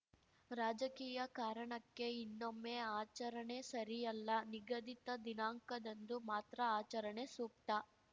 ರಾಜಕೀಯ ಕಾರಣಕ್ಕೆ ಇನ್ನೊಮ್ಮೆ ಆಚರಣೆ ಸರಿಯಲ್ಲ ನಿಗದಿತ ದಿನಾಂಕದಂದು ಮಾತ್ರ ಆಚರಣೆ ಸೂಕ್ತ